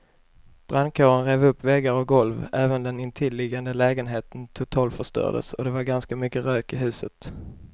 Brandkåren rev upp väggar och golv, även den intilliggande lägenheten totalförstördes och det var ganska mycket rök i huset.